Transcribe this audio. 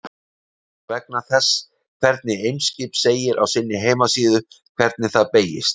Ég spyr vegna þess hvernig Eimskip segir á sinni heimasíðu hvernig það beygist.